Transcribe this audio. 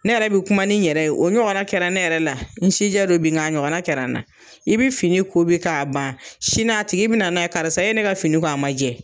Ne yɛrɛ bi kuma ni n yɛrɛ ye o ɲɔgɔna kɛra ne yɛrɛ la n si jɛ don bi ng'a ɲɔgɔn kɛra n na i bi fini ko bi k'a ban sini a tigi bi na na ye karisa e ye ne ka fini ko a ma jɛ